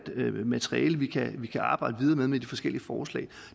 materiale vi kan vi kan arbejde videre med i de forskellige forslag